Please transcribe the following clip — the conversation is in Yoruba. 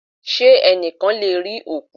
Ṣé ẹnìkan lè rí òkú?